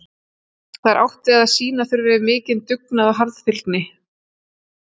Þá er átt við að sýna þurfi mikinn dugnað og harðfylgi.